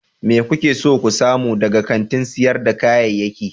Me kuke so ku samu daga kantin sayar da kayayyaki?